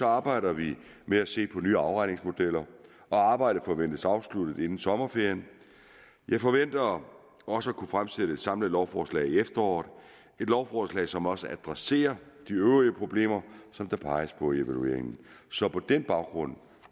arbejder vi med at se på nye afregningsmodeller og arbejdet forventes afsluttet inden sommerferien jeg forventer også at kunne fremsætte et samlet lovforslag i efteråret et lovforslag som også adresserer de øvrige problemer som der peges på i evalueringen så på den baggrund